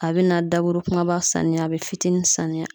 A bɛ na daburu kumaba sanuya a bɛ fitinin sanuya